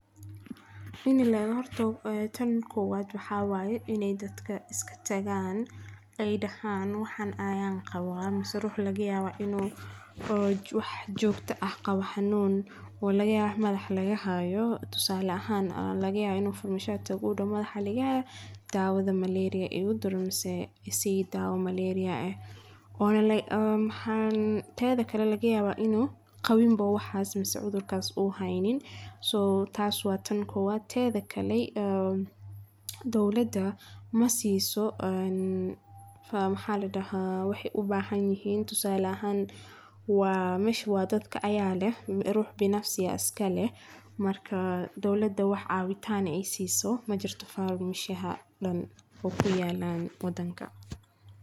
Waxaa ka mid ah iyagu oo la kulma xadgudubyo badan oo ay ku jiraan maalgelin la’aan, dawooyin qaali ah oo aan macaamilka ahayn, shaqaale aan khibrad ku filan hayn, iyo nidaamyo caafimaad oo aan hufnaan, sidoo kale waxay u baahan yihiin inay ka shaqeeyaan shuruudo adag oo dawrismo iyo qaanuunyo isbedbeddelaya, waxayna la dagaallamaan musuqmaasuqyo dawadeed oo ay ku jiraan dawooyin la xado iyo isticmaalka dawooyin qalad, taa oo keenta inay dadku helaan dawooyin.